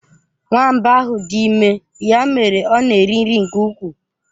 Nwamba ahụ dị ime, ya mere ọ na eri nri nke ukwuu.